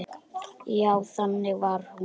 Já, þannig var hún.